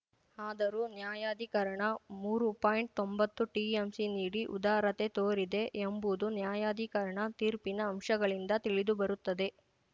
ಆದರೂ ನ್ಯಾಯಾಧಿಕರಣ ಮೂರು ಪಾಯಿಂಟ್ತೊಂಬತ್ತು ಟಿಎಂಸಿ ನೀಡಿ ಉದಾರತೆ ತೋರಿದೆ ಎಂಬುದು ನ್ಯಾಯಾಧಿಕರಣ ತೀರ್ಪಿನ ಅಂಶಗಳಿಂದ ತಿಳಿದುಬರುತ್ತದೆ